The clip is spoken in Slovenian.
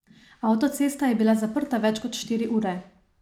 Avtocesta je bila zaprta več kot štiri ure.